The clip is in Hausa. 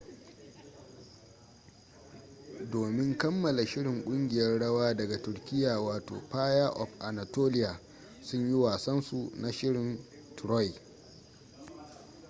domin kammala shirin kungiyar rawa daga turkiya wato fire of anatolia sun yi wasan su na shirin troy